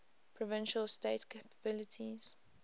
provincial state capabilities